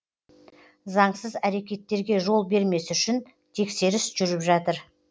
заңсыз әрекеттерге жол бермес үшін тексеріс жүріп жатыр